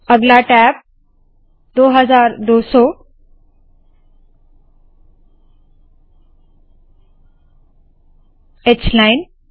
अगला tab 2200 h line